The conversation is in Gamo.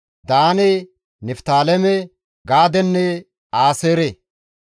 Daane, Niftaaleme, Gaadenne Aaseere.